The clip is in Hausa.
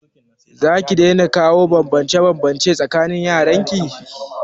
Zaki daina kawo banbance banbance a tsakanin yaran ki?